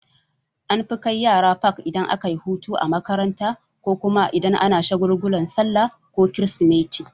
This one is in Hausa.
An fi kai yara fak idan akayi hutu a makaranta ko kuma idan ana shagulgulan sallah ko krismeti.